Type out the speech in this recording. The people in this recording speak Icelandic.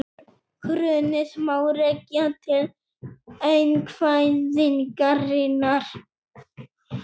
Hrunið má rekja til einkavæðingarinnar